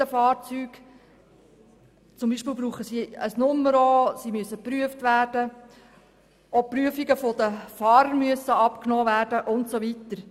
Beispielsweise brauchen sie eine Nummer und müssen ebenso geprüft werden wie deren Fahrer.